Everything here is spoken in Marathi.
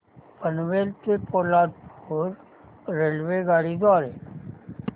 पनवेल ते पोलादपूर रेल्वेगाडी द्वारे